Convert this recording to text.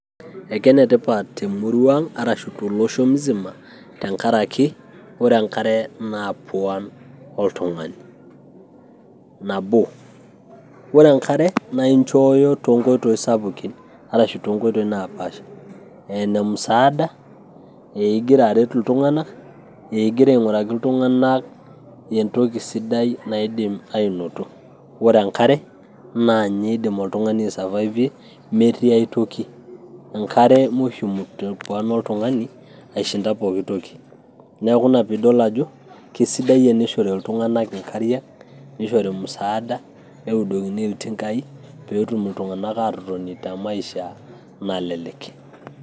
Ekenetipat temurua ang' arashu tolosho musima, tenkaraki ore enkare naa puan oltung'ani. Nabo, ore enkare na inchooyo tonkoitoi sapukin, arashu tonkoitoi napaasha. Eenemusaada, ah igira aret iltung'anak, eh igira aing'uraki iltung'anak entoki sidai naidim ainoto. Ore enkare naanye idim oltung'ani aisavaive metii ai toki. Enkare mushimu te puan oltung'ani aishinda pooki toki. Neeku ina piidol ajo, kesidai tenishori iltung'anak inkariak, nishori musaada, neudokini iltinkai, peetum iltung'anak atotoni te maishaa nalelek.